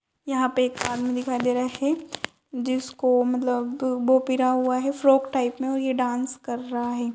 यहाँ पे एक आदमी दिखाई दे रहा है जिसको मतलब वो पिरा हुआ है फ्रॉक टाइप मे और ये डांस कर रहा है।